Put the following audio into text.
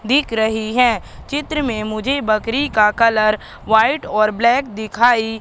दिख रही है चित्र में मुझे बकरी का कलर व्हाइट और ब्लैक दिखाई--